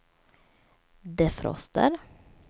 defroster